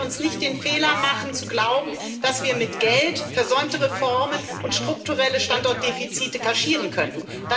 Lassen Sie uns nicht den Fehler machen zu glauben, dass wir mit Geld versäumte Reformen und strukturelle Standortdefizite kaschieren könnten.